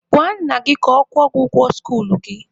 Gwa nna gị ka ọ kwụọ ụgwọ skuluu gị!